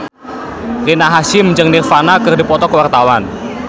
Rina Hasyim jeung Nirvana keur dipoto ku wartawan